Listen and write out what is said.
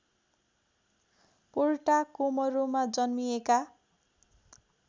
पोर्टाकोमरोमा जन्मिएका